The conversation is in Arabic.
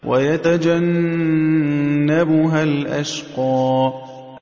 وَيَتَجَنَّبُهَا الْأَشْقَى